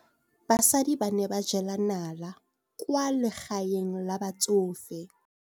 Basadi ba ne ba jela nala kwaa legaeng la batsofe.